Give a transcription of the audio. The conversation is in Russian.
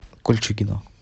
кольчугино